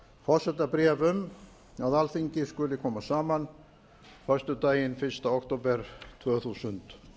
forsetabréf um að alþingi skuli koma saman föstudaginn fyrsta október tvö þúsund